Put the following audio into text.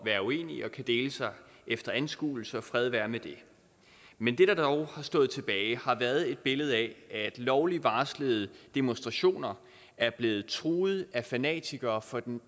være uenige og dele sig efter anskuelser fred være med det men det der dog har stået tilbage har været et billede af at lovligt varslede demonstrationer er blevet truet af fanatikere fra den